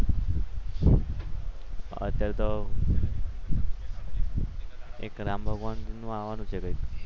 અત્યારે તો એક રામાનંદનું આવવાનું છે કે